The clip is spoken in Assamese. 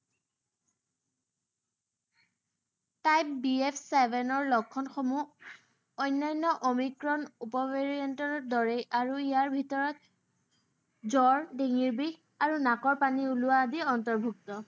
তাত বি এফ ছেভেনৰ লক্ষণসমূহ অন্যান্য অমিক্ৰন উপ variant ৰ দৰেই। আৰু ইয়াৰ ভিতৰত জ্বৰ, ডিঙিৰ বিষ, আৰু নাকৰ পানী ওলোৱা আদি অন্তৰ্ভুক্ত।